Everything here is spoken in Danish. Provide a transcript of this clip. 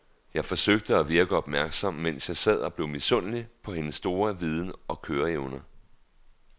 Jeg forsøgte at virke opmærksom, mens jeg sad og blev misundelig på hendes store viden og køreevner.